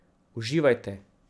Uživajte.